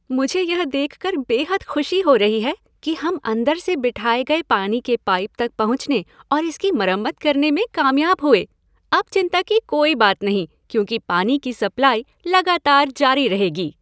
मुझे यह देखकर बेहद खुशी हो रही है कि हम अंदर से बिठाए गए पानी के पाइप तक पहुँचने और इसकी मरम्मत करने में कामयाब हुए, अब चिंता की कोई बात नहीं क्योंकि पानी की सप्लाई लगातार जारी रहेगी।